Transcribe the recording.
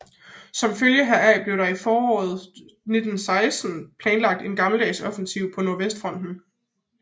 Som følge heraf blev der i foråret 1916 planlagt en gammeldags offensiv på nordvestfronten